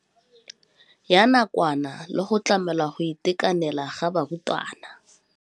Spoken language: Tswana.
Ya nakwana le go tlamela go itekanela ga barutwana.